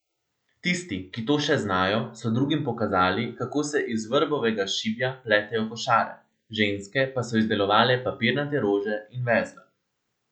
Tisti, ki to še znajo, so drugim pokazali, kako se iz vrbovega šibja pletejo košare, ženske pa so izdelovale papirnate rože in vezle.